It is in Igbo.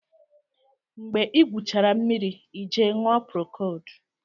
Mgbe ị gwụchara mmiri ị jee ṅụọ procold